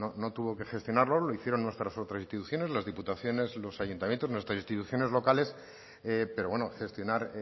no tuvo que gestionarlo lo hicieron nuestras otras instituciones las diputaciones los ayuntamientos nuestras instituciones locales pero bueno gestionar